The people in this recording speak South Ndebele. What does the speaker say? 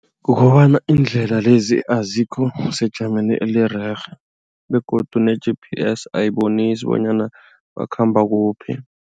Kukobana iindlela lezi azikho sejameni elirerhe begodu ne-GPS ayibonisi bonyana bakhamba kuphi.